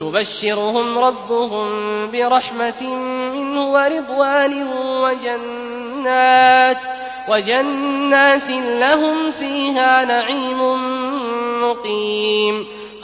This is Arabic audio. يُبَشِّرُهُمْ رَبُّهُم بِرَحْمَةٍ مِّنْهُ وَرِضْوَانٍ وَجَنَّاتٍ لَّهُمْ فِيهَا نَعِيمٌ مُّقِيمٌ